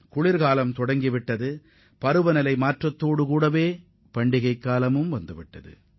குளிர்காலம் தொடங்கி இருப்பதுடன் பருவநிலை மாற்றத்தால் பண்டிகை காலமும் தொடங்கியுள்ளது